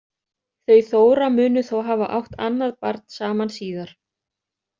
Þau Þóra munu þó hafa átt annað barn saman síðar.